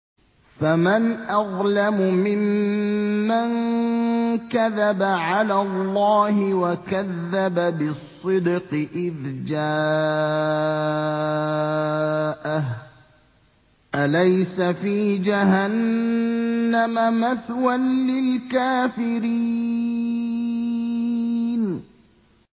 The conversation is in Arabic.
۞ فَمَنْ أَظْلَمُ مِمَّن كَذَبَ عَلَى اللَّهِ وَكَذَّبَ بِالصِّدْقِ إِذْ جَاءَهُ ۚ أَلَيْسَ فِي جَهَنَّمَ مَثْوًى لِّلْكَافِرِينَ